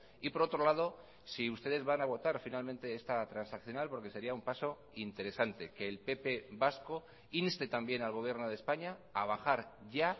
y por otro lado si ustedes van a votar finalmente esta transaccional porque sería un paso interesante que el pp vasco inste también al gobierno de españa a bajar ya